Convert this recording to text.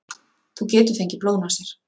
Þú getur fengið blóðnasir.